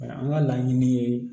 An ka laɲini ye